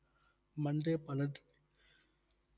Monday பனட்டு~